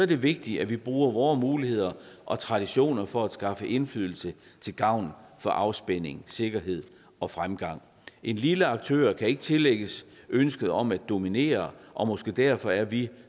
det vigtigt at vi bruger vore muligheder og traditioner for at skaffe indflydelse til gavn for afspænding sikkerhed og fremgang en lille aktør kan ikke tillægges ønsket om at dominere og måske derfor er vi